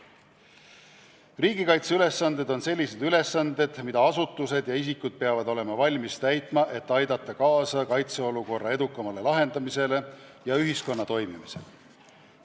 Riigikaitseülesanded on sellised ülesanded, mida asutused ja isikud peavad olema valmis täitma, et aidata kaasa kaitseolukorra edukale lahendamisele ja ühiskonna toimimisele.